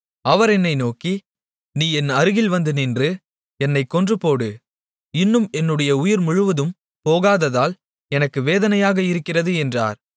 அவர் என்னை நோக்கி நீ என் அருகில் வந்து நின்று என்னைக் கொன்றுபோடு இன்னும் என்னுடைய உயிர் முழுவதும் போகாததால் எனக்கு வேதனையாக இருக்கிறது என்றார்